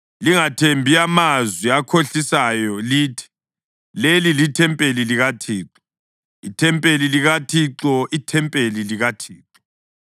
Lingathembi amazwi akhohlisayo lithi, “Leli lithempeli likaThixo, ithempeli likaThixo, ithempeli likaThixo!”